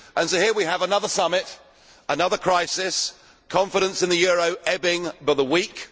So here we have another summit, another crisis, confidence in the euro ebbing by the week.